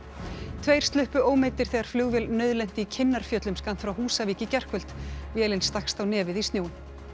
tveir sluppu ómeiddir þegar flugvél nauðlenti í Kinnarfjöllum skammt frá Húsavík í gærkvöld vélin stakkst á nefið í snjóinn